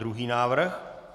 Druhý návrh.